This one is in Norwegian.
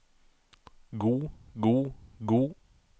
god god god